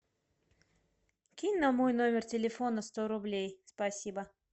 кинь на мой номер телефона сто рублей спасибо